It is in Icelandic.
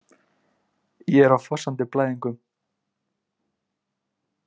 Ég er á fossandi blæðingum.